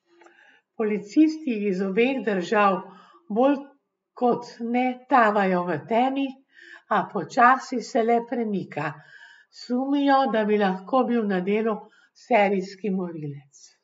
Policisti iz obeh držav bolj kot ne tavajo v temi, a počasi se le premika, sumijo, da bi lahko bil na delu serijski morilec.